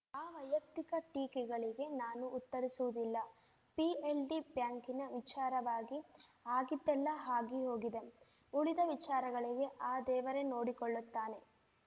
ಆ ವೈಯಕ್ತಿಕ ಟೀಕೆಗಳಿಗೆ ನಾನು ಉತ್ತರಿಸುವುದಿಲ್ಲ ಪಿಎಲ್‌ಡಿ ಬ್ಯಾಂಕಿನ ವಿಚಾರವಾಗಿ ಆಗಿದ್ದೆಲ್ಲ ಆಗಿ ಹೋಗಿದೆ ಉಳಿದ ವಿಚಾರಗಳಿಗೆ ಆ ದೇವರೇ ನೋಡಿಕೊಳ್ಳುತ್ತಾನೆ